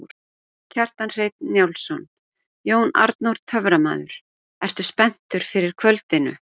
Kjartan Hreinn Njálsson: Jón Arnór töframaður, ertu spenntur fyrir kvöldinu?